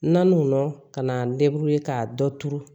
Naaninanw ka na ka dɔ turu